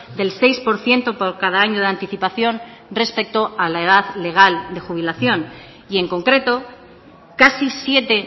del seis por ciento por cada año de anticipación respecto a la edad legal de jubilación y en concreto casi siete